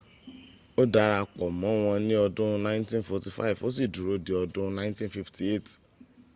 ó dara pọ̀ mọ́wọn ní ọdún 1945 ó sì dúró di ọdún 1958